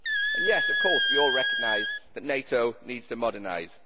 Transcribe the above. And yes, of course, we all recognise that NATO needs to modernise.